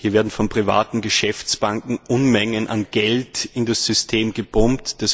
Hier werden von privaten Geschäftsbanken Unmengen an Geld in das System gepumpt.